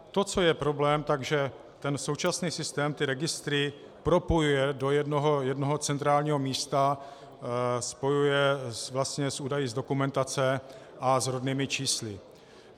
To, co je problém, že ten současný systém ty registry propojuje do jednoho centrálního místa, spojuje vlastně s údaji z dokumentace a s rodnými čísly.